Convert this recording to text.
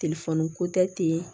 ko tɛ ten